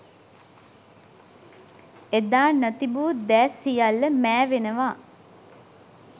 එදා නොතිබූ දෑ සියල්ල මෑවෙනවා